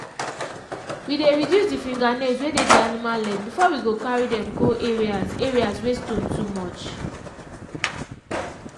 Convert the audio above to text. we dey reduce the fingernails wey dey d animal leg before we go carry dem go areas areas wey stone too much.